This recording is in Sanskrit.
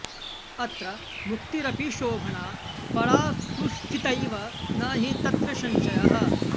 अत्र मुक्तिरपि शोभना परा सुस्थितैव न हि तत्र संशयः